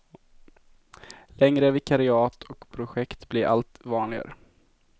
Längre vikariat och projekt blir allt vanligare.